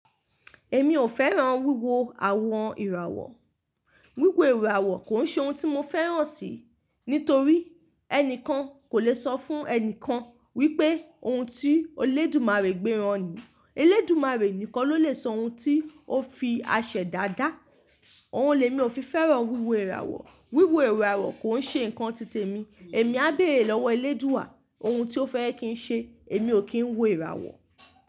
Èmi ò fẹ́ràn wíwo àwọn ìràwọ̀. Wíwo ìràwọ̀ kò ń ṣe ohun tí mo fẹ́ràn sì, nítorí ẹnìkan kò lè sọ fún ẹnìkan wípé ohun tí Olódùmarè gbéra ni. Eledùmarè nìkan ló lè sọ ohun tí ó fi àṣẹda da Òun lèmi ò fi fẹ́ràn wíwo ìràwọ̀. Wíwo ìràwọ̀ kò ń ṣe ǹkan titẹ mi. Èmi á béèrè lọ́wọ́ eledua ohun tí ó fẹ́ kí ń ṣe èmi ò kí ń wo ìràwọ̀.